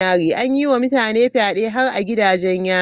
An yi wa mutane fyade har a gidajen yari.